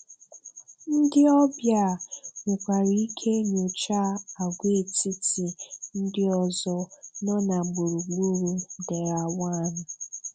Ndị ọbịa nwekwara ike nyochaa àgwàetiti ndị ọzọ nọ na gburugburu Derawan.